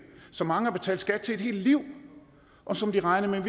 som mange har betalt skat til et helt liv og som de regnede